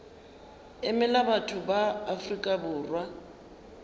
emela batho ba afrika borwa